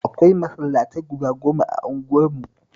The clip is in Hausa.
Akwai masallatai guda goma a unguwarmu